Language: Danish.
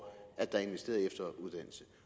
at der er investeret i efteruddannelse